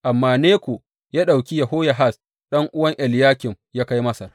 Amma Neko ya ɗauki Yehoyahaz ɗan’uwan Eliyakim ya kai Masar.